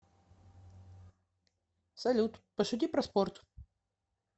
салют пошути про спорт